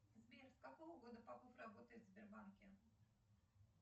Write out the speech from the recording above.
сбер с какого года попов работает в сбербанке